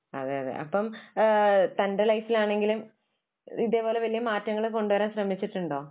അതെയതെ. അപ്പൊ തന്റെ ലൈഫിൽ ആണെങ്കിലും ഇതേപോലെ വലിയ മാറ്റങ്ങൾ കൊണ്ടുവരാൻ ശ്രമിച്ചിട്ടുണ്ടോ?